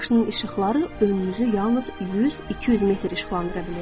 Maşının işıqları önünüzü yalnız 100-200 metr işıqlandıra bilir.